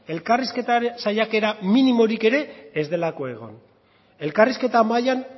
elkarrizketa saiakera minimorik ere ez delako egon elkarrizketa mailan